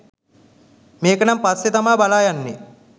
මේක නම් පස්සේ තමා බාලා බලන්නේ.